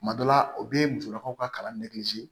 Tuma dɔ la o bɛ musolakaw ka kalan